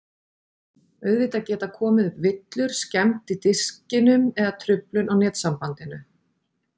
Auðvitað geta komið upp villur, skemmd í diskinum eða truflun á netsambandinu.